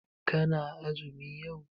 Kana azumi yau?